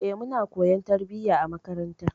Eh, muna koyon tarbiyya a makaranta.